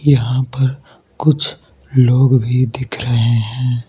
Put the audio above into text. यहां पर कुछ लोग भी दिख रहे हैं।